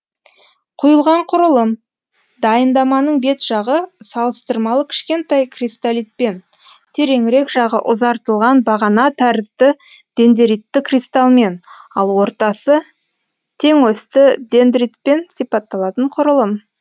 құйылған құрылым дайындаманың бет жағы салыстырмалы кішкентай кристалитпен тереңірек жағы ұзартылған бағана тәрізді дендеритті кристалмен ал ортасы тең осьті дендритпен сипатталатын құрылым